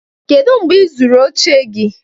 kedu mgbe ị zụrụ oche gị?